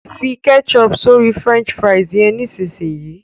fí ketchup sórí french fries yén nísìsiyìí!